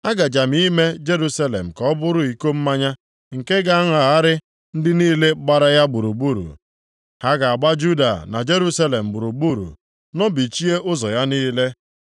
“Agaje m ime Jerusalem ka ọ bụrụ iko mmanya nke ga-aṅagharị ndị niile gbara ya gburugburu. Ha ga-agba Juda na Jerusalem gburugburu, nọbichie ụzọ ya niile.